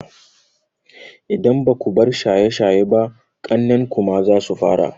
Idan baku bar shaye shaye ba, ƙannen ku ma zasu fara.